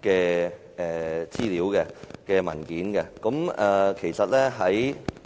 的相關資料和文件。